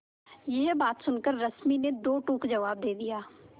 यह बात सुनकर रश्मि ने दो टूक जवाब दे दिया